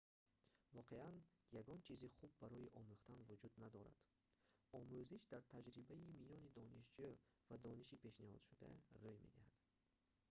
воқеан ягон чизи хуб барои омӯхтан вуҷуд надорад омӯзиш дар таҷрибаи миёни донишҷӯ ва дониши пешниҳодшуда рӯй медиҳад